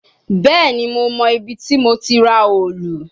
Bẹẹni, Mo mọ ibiti mo ti ra òòlù